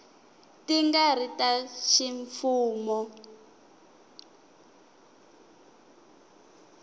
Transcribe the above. ti nga ri ta ximfumo